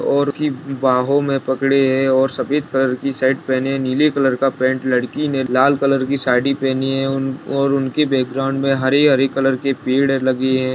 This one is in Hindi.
और की बाहों में पकड़े और सफ़ेद कलर की शर्ट पेहने है नीले कलर का पैंट लड़की ने लाल कलर की साड़ी पेहनी है उन और उनके बैकग्राउंड में हरे-हरे कलर के पेड़ लगे हैं।